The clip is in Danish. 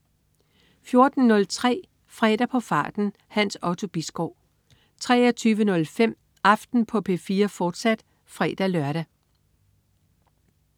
14.03 Fredag på farten. Hans Otto Bisgaard 23.05 Aften på P4, fortsat (fre-lør)